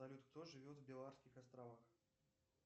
салют кто живет в балеарских островах